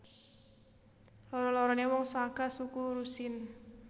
Loro loroné wong saka suku Rusyn